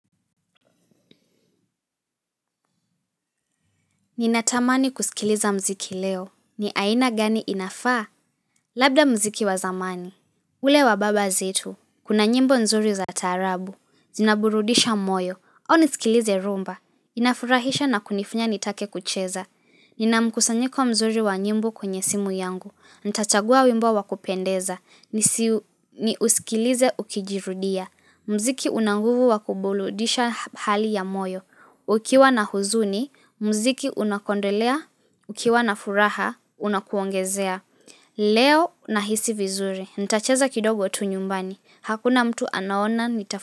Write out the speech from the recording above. Ninatamani kusikiliza muziki leo. Ni aina gani inafaa? Labda muziki wa zamani. Ule wababa zetu. Kuna nyimbo nzuri za taarabu. Zinaburudisha moyo. Au nisikilize rhumba. Inafurahisha na kunifanya nitake kucheza. Nina mkusanyiko mzuri wa nyimbo kwenye simu yangu. Nitachagua wimbo wa kupendeza. Nisiusikilize ukijirudia. Muziki una nguvu wa kuburudisha hali ya moyo. Ukiwa na huzuni, muziki unakuondolea. Ukiwa na furaha, unakuongezea. Leo nahisi vizuri. Nitacheza kidogo tu nyumbani. Hakuna mtu anaona nita.